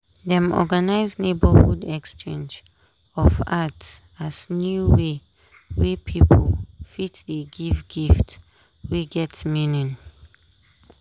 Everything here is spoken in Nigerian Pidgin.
dem organize neighborhood exchange of art as new way wey pipo fit dey give gift wey get meaning.